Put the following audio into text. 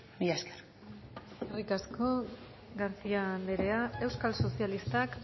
mila esker eskerrik asko garcía andrea euskal sozialistak